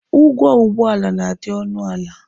Ụgwọ ụgbọala na-adị ọnụ ala.